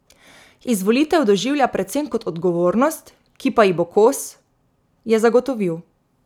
Izvolitev doživlja predvsem kot odgovornost, ki pa ji bo kos, je zagotovil.